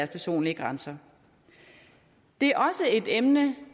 personlige grænser det er også et emne